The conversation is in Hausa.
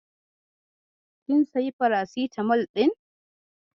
Kin sayi farasitamol ɗin?